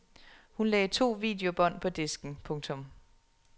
Hun lagde to videobånd på disken. punktum